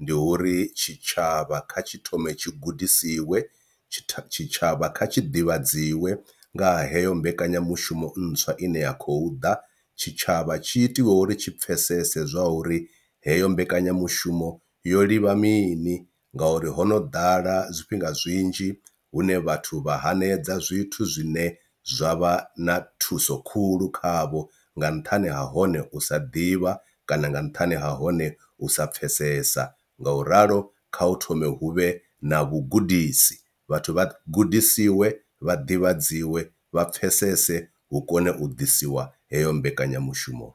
ndi uri tshitshavha kha tshi thome tshi gudisiwe tshitshavha kha tshi ḓivhadziwa nga heyo mbekanyamushumo ntswa ine ya khou ḓa, tshitshavha tshi itiwe uri tshi pfesese zwa uri heyo mbekanyamushumo yo ḽivha mini ngori hono ḓala zwifhinga zwinzhi hune vhathu vha hanedza zwithu zwine zwa vha na thuso khulu khavho nga nṱhani ha hone u sa ḓivha kana nga nṱhani ha hone u sa pfhesesa. Ngauralo kha hu thome hu vhe na vhugudisi vhathu vha gudisiwe vha ḓivhadziwa vha pfhesese hu kone u ḓisiwa heyo mbekanyamushumo.